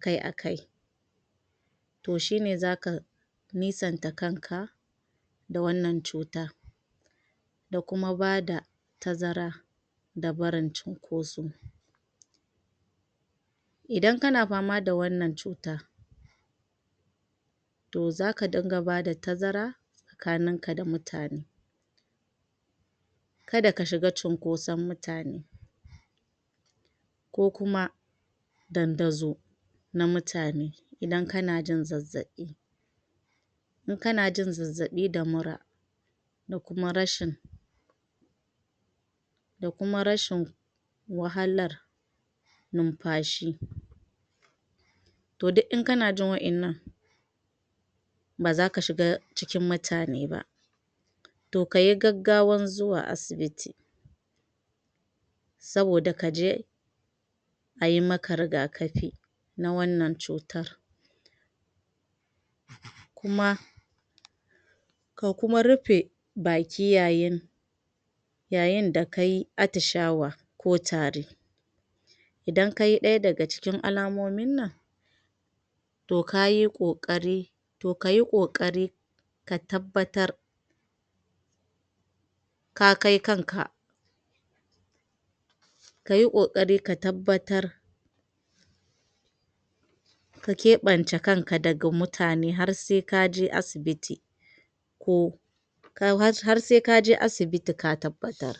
kai a kai toh shine zaka nisanta kanka da wannan cutar da kuma bada tazara da barin chinkoso idan kana fama da wannan cutar toh zaka dinga bada tazara tsakanin ka da mutane kada ka shiga chinkoson mutane ko kuma tantazo na mutane idan kana jin zazzabi in kana jin zazzabi da mura da kuma rashin da kuma rashin wahala numfashi duk in kana jin wa'ennan baza ka shiga cikin mutane ba toh kayi gaggawan zuwa asibiti saboda kaje ayi maka rigaƙafi na wannan cutar kuma ka kuma rufe baki yayin yayin da kayi atishawa ko tari idan kayi ɗaya daga cikin alamomin nan toh kayi ƙokari toh kayi ƙokarin ka tabbatar ka kai kan ka kayi ƙokari ka tabbatar ka ƙebanta kanka daga mutane har sai kaje asibiti ko har sai kaje asibiti ka tabbatar